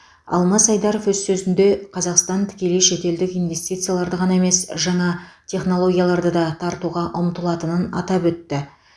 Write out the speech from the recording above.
алмас айдаров өз сөзінде қазақстан тікелей шетелдік инвестицияларды ғана емес жаңа технологияларды да тартуға ұмтылатынын атап өтті